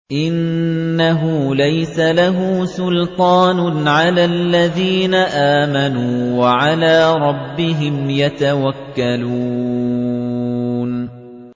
إِنَّهُ لَيْسَ لَهُ سُلْطَانٌ عَلَى الَّذِينَ آمَنُوا وَعَلَىٰ رَبِّهِمْ يَتَوَكَّلُونَ